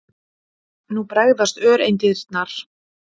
Nú bregðast öreindirnar.